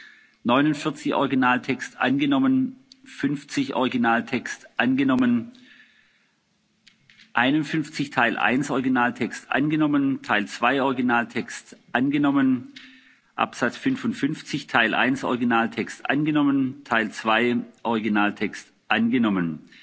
angenommen. Ziffer 49 Originatext angenommen. Ziffer 50 Originaltext angenommen. Ziffer 51 Teil 1 Originaltext angenommen. Teil 2 Originaltext angenommen. Ziffer 55 Teil 1 Originaltext angenommen. Teil 2 Originaltext